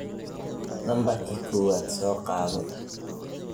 Nambarki kowad sokadho.